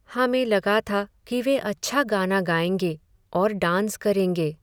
हमें लगा था कि वे अच्छा गाना गाएंगे और डांस करेंगे।